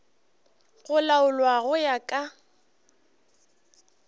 go laolwa go ya ka